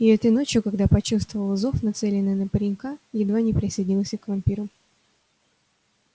и этой ночью когда почувствовал зов нацеленный на паренька едва не присоединился к вампирам